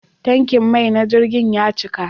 Tankin mai na jirgin ya cika.